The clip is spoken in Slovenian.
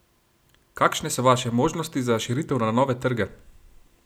Kakšne so vaše možnosti za širitev na nove trge?